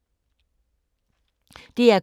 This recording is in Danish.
DR K